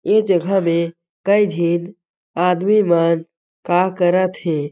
ये जगह में कई झिन आदमी मन का करत हे।